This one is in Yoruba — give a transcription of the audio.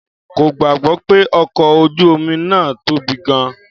Kò gbàgbọ́ pé ọkọ̀ ojú omi náà tóbi gan-an.